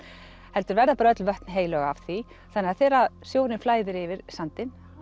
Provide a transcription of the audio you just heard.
heldur verða bara öll vötn heilög af því þannig að þegar sjórinn flæðir yfir sandinn